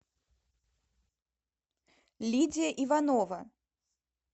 лидия иванова